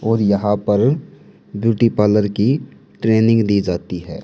और यहां पर ब्यूटी पार्लर की ट्रेनिंग दी जाती है।